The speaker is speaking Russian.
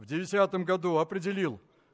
в десятом году определил